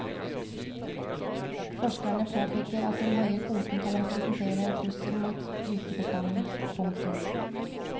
Forskerne påpeker at den høye kvoten kan representere en trussel mot gytebestanden. punktum